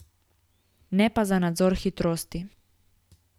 Ne pa za nadzor hitrosti.